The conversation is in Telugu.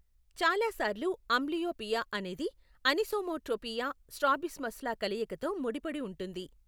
చాలా సార్లు, అంబ్లియోపియా అనేది అనిసోమెట్రోపియా, స్ట్రాబిస్మస్ల కలయికతో ముడిపడి ఉంటుంది.